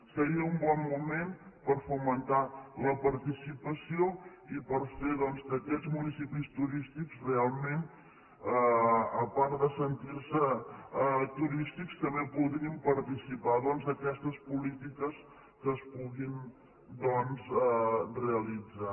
seria un bon moment per fomentar la participació i per fer doncs que aquests municipis turístics realment a part de sentir se turístics també puguin participar d’aquestes polítiques que es puguin realitzar